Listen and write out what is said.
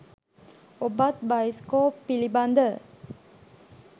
ඔබත් බයිස්කෝප් පිළිබඳ